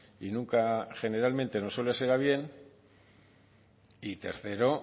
y nunca generalmente no suele ser a bien y tercero